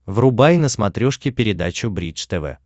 врубай на смотрешке передачу бридж тв